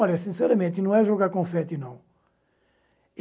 Olha, sinceramente, não é jogar confete, não.